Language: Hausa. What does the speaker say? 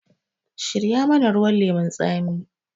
Shirya mana ruwan lemun tsami!